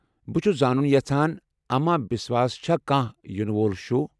بہٕ چھُ زانُن یژھان اما بِسواہس چھا كانہہ ینہٕ وول شو۔